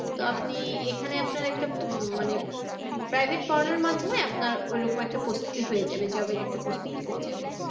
তো আপনি এখানে আপনার একটা উম মানে উম private পড়ানোর মাধ্যমে আপনার ওরকম একটা প্রস্তুতি হয়ে যাবে job এর একটা প্রস্তুতি হয়ে যাবে।